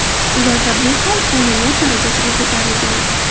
Ularda bu hol qonuniyat darajasiga ko‘tarilgan.